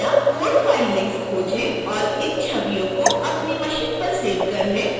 कृपया code files link खोजें और इन छवियों को अपनी मशीन पर सेव कर लें